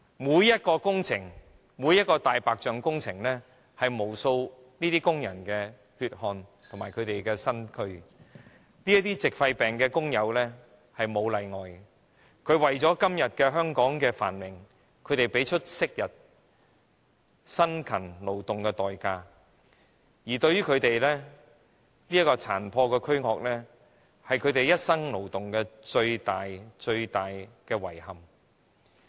每項工程、每項"大白象"工程，是由無數工人的血汗和身軀建成的。這些矽肺病的工友沒有例外地作出貢獻，他們為了香港今天的繁榮，昔日付出辛勤勞動的代價，而他們殘破的軀殼是他們一生勞動的最大遺憾。